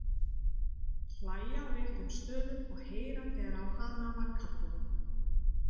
Hlæja á réttum stöðum og heyra þegar á hana var kallað.